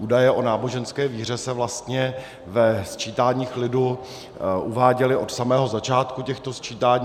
Údaje o náboženské víře se vlastně ve sčítáních lidu uváděly od samého začátku těchto sčítání.